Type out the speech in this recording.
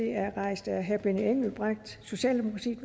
er rejst af herre benny engelbrecht socialdemokratiet